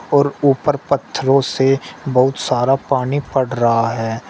और ऊपर पत्थरो से बहुत सारा पानी पट रहा है।